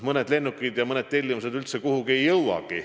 Mõned lennukid ja mõned tellimused ei jõua üldse kuhugi.